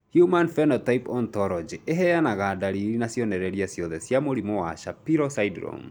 Human Phenotype Ontology ĩheanaga ndariri na cionereria ciothe cia mũrimũ wa Shapiro syndrome.